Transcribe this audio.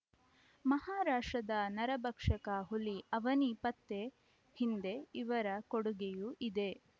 ಮಹಾರಾಷ್ಟ್ರದ ನರಭಕ್ಷಕ ಹುಲಿ ಅವನಿ ಪತ್ತೆ ಹಿಂದೆ ಇವರ ಕೊಡುಗೆಯೂ ಇದೆ